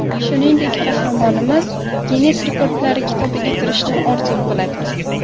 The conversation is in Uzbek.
Shuningdek, qahramonimiz Ginnes rekordlari kitobiga kirishni orzu qiladi.